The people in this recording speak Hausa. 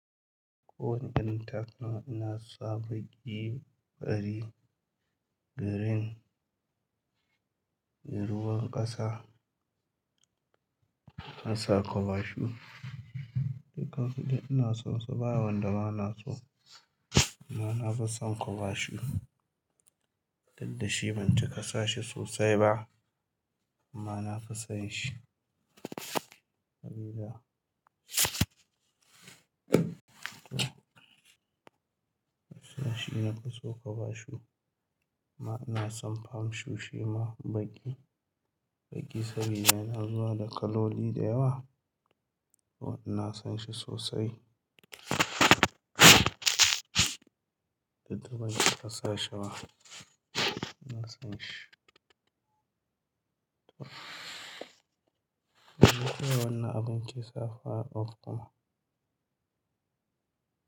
Kowane irin takalma ina sa baƙi, fari, girin, ruwan ƙasa, ƙasa, cover shoe. Dukkan su duk ina son su, ba wanda ba na so. Amma na fi son ƙobashu. Diddashi ban cika sa shi sosai ba amma na fi son shi. Habiba. Na fi so ƙobashu. Amma ina son fam shoe shima, baƙi. Baƙi saboda yana zuwa da kaloli da yawa. To ina son shi sosai. Didda ban cika sa shi ba. Ina son shi. Wana abin lissafi a ofis kuma.